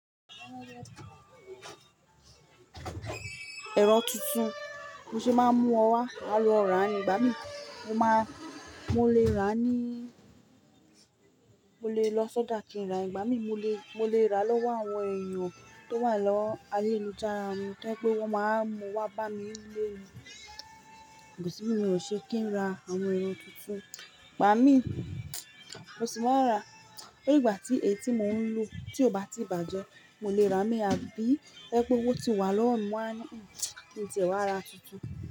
Ẹran tuntun, mo ṣe máa mú ọ wá, a lọ rà ni, gbà mí mo máa, mo lè rà ní, mo lè lọ sọ́dà kí n rà, ìgbà mí mo lè, mo lè rà lọ́wọ́ àwọn èèyàn tó wà lọ́wọ́ alẹ́ ìlú jára mu, tí ẹ pé wọ́n máa mú wa bá mi lé e lọ, gùsù mi ò ṣe kí n ra àwọn ẹran tuntun, gbà mí mo sì máa rà, ní ìgbà tí ẹ̀tì mò ń lu tí ò bá tí bàjẹ́, mo lè rà mí àbí ẹ pé owó tí wà lọ́wọ́ mi máa ní kí n tẹ̀ wá ra tuntun.